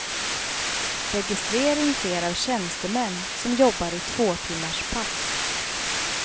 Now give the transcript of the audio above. Registrering sker av tjänstemän som jobbar i tvåtimmarspass.